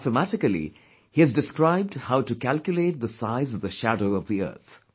Mathematically, he has described how to calculate the size of the shadow of the earth